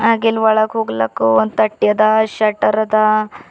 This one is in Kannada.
ಹಾಗ ಇಲ್ಲಿ ಒಳಗ ಹೋಗಲಾಕ ಒಂದ ತಟ್ಟಿ ಅದ ಶೆಟರ್ ಅದ.